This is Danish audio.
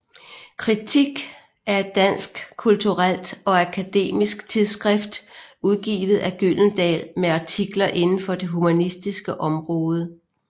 Kritik er et dansk kulturelt og akademisk tidsskrift udgivet af Gyldendal med artikler inden for det humanistiske område